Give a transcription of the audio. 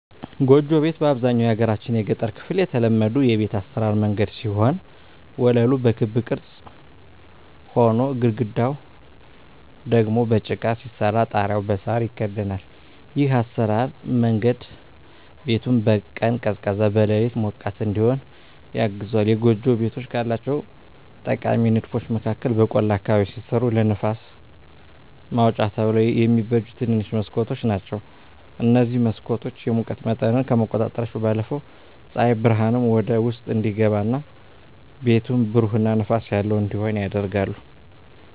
ጎጆ ቤት በአብዛኛው የሀገራችን የገጠር ክፍል የተለመዱ የቤት አሰራር መንገድ ሲሆን ወለሉ በክብ ቅርጽ ሆኖ፣ ግድግዳው ደግሞ በጭቃ ሲሰራ ጣሪያው በሳር ይከደናል። ይህ የአሰራር መንገድ ቤቱን በቀን ቀዝቃዛ፣ በሌሊት ሞቃት እዲሆን ያግዘዋል። የጎጆ ቤቶች ካላቸው ጠቃሚ ንድፎች መካከል በቆላ አካባቢ ሲሰሩ ለንፋስ ማውጫ ተብለው የሚበጁ ትንንሽ መስኮቶች ናቸዉ። እነዚህ መስኮቶች የሙቀት መጠንን ከመቆጣጠራቸው ባለፈም ፀሐይ ብርሃን ወደ ውስጥ እንዲገባ እና ቤቱን ብሩህ እና ንፋስ ያለው እንዲሆን ያደርጋሉ።